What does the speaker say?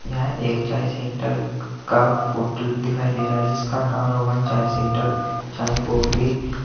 यह एक चाय सेंटर का होटल दिखाई दे रहा जिसका नाम रोहन चाय सेंटर चाय काफी --